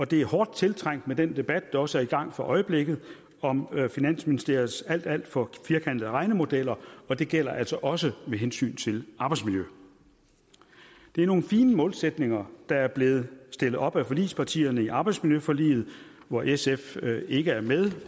det er hårdt tiltrængt med den debat der også er i gang for øjeblikket om finansministeriets alt alt for firkantede regnemodeller og det gælder altså også med hensyn til arbejdsmiljø det er nogle fine målsætninger der er blevet stillet op af forligspartierne i arbejdsmiljøforliget hvor sf ikke er med